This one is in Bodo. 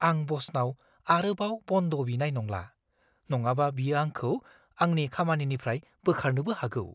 आं ब'सनाव आरोबाव बन्द बिनाय नंला। नङाबा बियो आंखौ आंनि खामानिनिफ्राय बोखारनोबो हागौ।